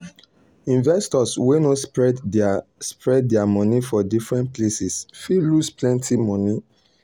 investors wey no spread their no spread their money for different places fit lose plenty money.